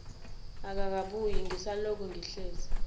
akakabuyi ngisalokhu ngihlezi